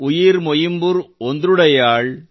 ಉಯಿರ್ ಮೊಯಿಂಬುರ್ ಓಂದ್ರುಡಯ್ಯಾಳ್